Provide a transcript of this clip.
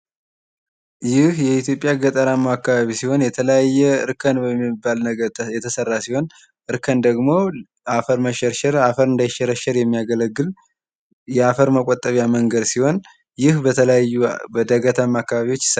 ይህ የኢትዮጵያ ገጠራማ አካባቢ ሲሆን የተለያየ እርከን የሚባል ነገር የተሰራ ሲሆን እርከን ደግሞ አፈር እንዳይሸረሸር የሚያገለግል የአፈር መከላከያ አይነት ሲሆን፤ ይህ በተለያዩ ገጠራማ ዳገት አካባቢዎች ይሰራል።